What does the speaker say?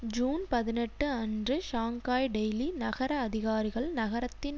June பதினெட்டு அன்று Shanghai daily நகர அதிகாரிகள் நகரத்தின்